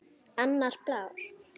Annar blár.